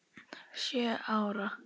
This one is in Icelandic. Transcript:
Sjö ára.